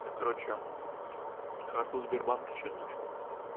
я короче карту сбербанка чью-то нашёл